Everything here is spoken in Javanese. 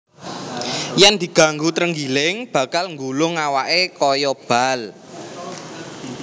Yèn diganggu trenggiling bakal nggulung awaké kaya bal